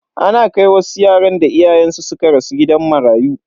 Ana kai wasu yaran da iyayensu suka rasu gidan marayu.